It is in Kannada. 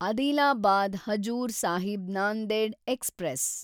ಅದಿಲಾಬಾದ್ ಹಜೂರ್ ಸಾಹಿಬ್ ನಾಂದೆಡ್ ಎಕ್ಸ್‌ಪ್ರೆಸ್